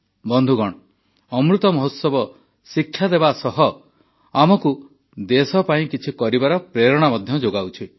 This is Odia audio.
ବନ୍ଧୁଗଣ ଅମୃତ ମହୋତ୍ସବ ଶିକ୍ଷା ଦେବା ସହ ଆମକୁ ଦେଶ ପାଇଁ କିଛି କରିବାର ପ୍ରେରଣା ମଧ୍ୟ ଯୋଗାଉଛି